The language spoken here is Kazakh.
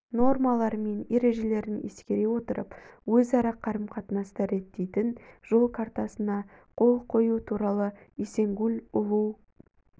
нормалары мен ережелерін ескере отырып өзара қарым-қатынасты реттейтін жол картасына қол қою туралы эсенгул уулу